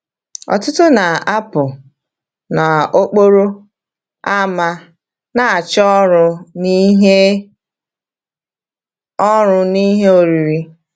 Ọtụtụ na-apụ n’okporo ámá na-achọ ọrụ na ihe ọrụ na ihe oriri.